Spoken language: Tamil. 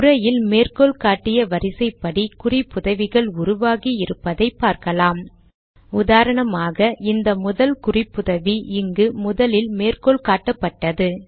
உரையில் மேற்கோள் காட்டிய வரிசைப்படி குறிப்புதவிகள் உருவாகி இருப்பதை பார்க்கலாம்உதாரணமாக இந்த முதல் குறிப்புதவி இங்கு முதலில் மேற்கோள் காட்டப்பட்டது